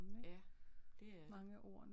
Ja det er det